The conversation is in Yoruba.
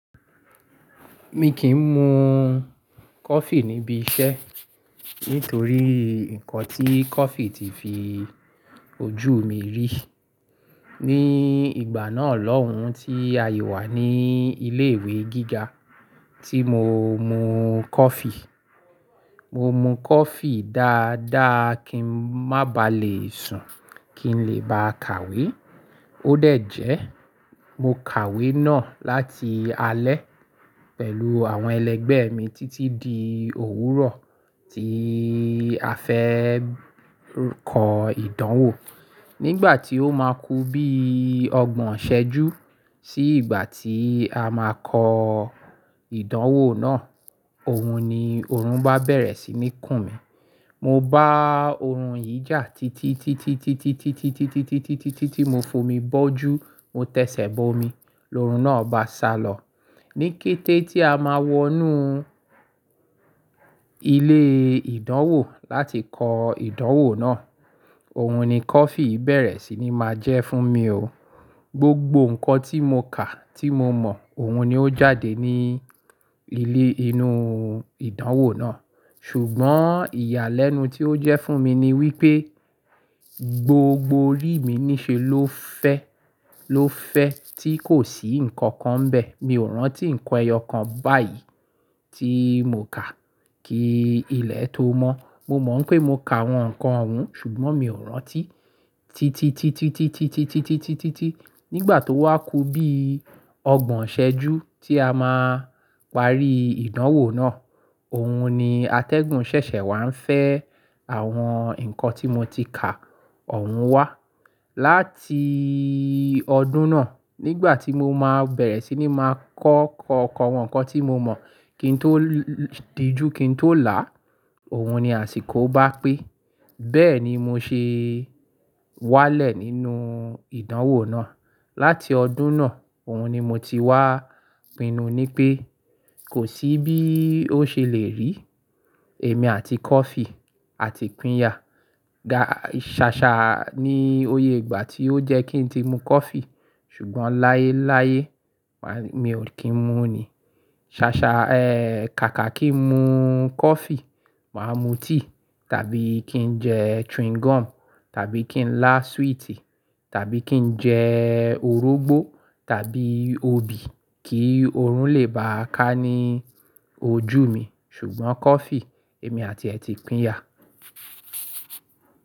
Mi kì n mu coffee níbi iṣẹ́ nítorí nǹkan tí coffee ti fi ojú mi rí. Ni ìgbà náà lọ́hùn tí a yi wà ní ilé ìwé gíga tí mo mu coffee. Mo mu coffee dáadáa kí n má ba à le sùn, kí n lè bá kàwé. Ó dẹ̀ jẹ́ mo kàwé náà láti alẹ́ pẹ̀lú àwọn ẹlẹgbẹ́ mi títí di òwúrọ̀ tí a fẹ́ kọ ìdánwò. Nígbà tí ó máa ku bí ọgbọ̀n ṣẹ́jú sí ìgbà tí a máa kọ ìdánwò náà, òun ni òórùn bá bẹ̀rẹ̀ sí ní kùn mí. Mo bá òórùn yìí jà títí, títí, títí, títí, títí, títí, títí, títí, títí, títí mo fomi bọ́jú. Mo tẹsẹ̀ bo omi, lóórùn náà bá sálọ. Ní kété tí a máa wọnú ilé ìdánwò láti kọ ìdánwò náà, òun ni coffee bẹ̀rẹ̀ sí ní máa jẹ́ fún mi o. Gbogbo nǹkan tí mo kà tí mo mọ̀, òun ni ó jáde nínú ìdánwò náà. Ṣùgbọ́n ìyàlẹ́nu tí ó jẹ́ fún mi ni wípé gbogbo orí mi ní ṣe ló fẹ́, ló fẹ́ tí kò sí nǹkan kan bẹ̀. Mi ò rántí nǹkan ẹyọ kan báyìí tí mo kà kí ilẹ̀ tó mọ́. Mo mọ̀ pé mo kà àwọn nǹkan ohun, ṣùgbọ́n mi ò rántí. Títí, títí, títí, títí, títí, títí, títí, títí nígbà tó wá ku bí ọgbọ̀n iṣẹ́jú tí a máa parí ìdánwò náà, òun ni atẹ́gùn ṣẹ̀ṣẹ̀ wá ń fẹ́ àwọn nǹkan tí mo ti kà, òun wá. Láti ọdún náà nígbà tí mo máa bẹ̀rẹ̀ sí ní máa kọ́ kó àwọn nǹkan tí mo mọ̀ kí n tó dijú, kí n tó là á, òun ni àsìkò ó bá pé. Bẹ́ẹ̀ ni mo ṣe wálẹ̀ nínú ìdánwò náà. Láti ọdún náà, òun ni mo ti wá pinnu ni pé kò sí bí ó ṣe le rí èmi àti coffee àti píya. Ṣàṣà ni oyè ìgbà tí ó jẹ́ kí n ti mu coffee ṣùgbọ́n láyé láyé mi ò kí ń mu ni. Ṣàṣà, eh, kàkà kí n mu coffee, màá mu tea tàbí kí n jẹ chewing gum tàbí kí n lá sweet tàbí kí n jẹ orógbó tàbí obì kí òórùn lè bá ká ní ojú mi ṣùgbọ́n coffee, èmi àti ẹ ti píya.